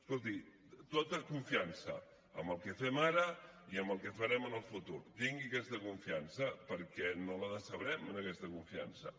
escolti amb tota confiança amb el que fem ara i amb el que farem en el futur tingui aquesta confiança perquè no la decebrem en aquesta confiança